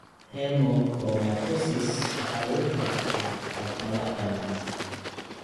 Hemochromatosis waxaa lagu kala dhaxlaa hab madax-bannaan.